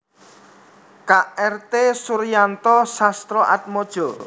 K R T Suryanto Sastroatmojo